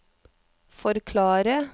forklare